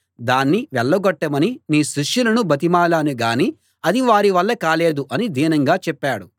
దాన్ని వెళ్ళగొట్టమని నీ శిష్యులను బతిమాలాను గానీ అది వారి వల్ల కాలేదు అని దీనంగా చెప్పాడు